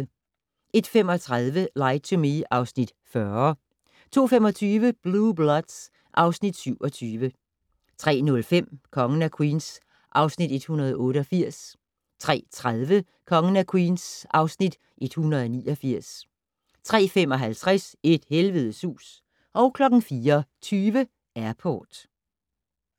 01:35: Lie to Me (Afs. 40) 02:25: Blue Bloods (Afs. 27) 03:05: Kongen af Queens (Afs. 188) 03:30: Kongen af Queens (Afs. 189) 03:55: Et helvedes hus 04:20: Airport